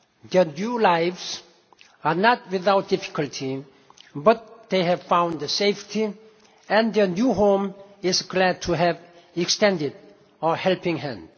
Their new lives are not without difficulty, but they have found safety and their new home is glad to have extended a helping hand.